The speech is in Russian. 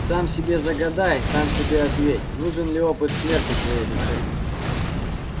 сам себе загадай сам себе ответь нужен ли опыт смерти твоей душе